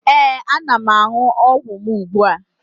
Ee, ana m aṅụ ọgwụ m ugbua